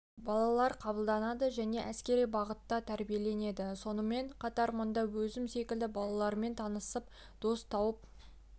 балалар қабылданады және әскери бағытта тәрбиеленеді сонымен қатар мұнда өзім секілді балалармен танысып достар тауып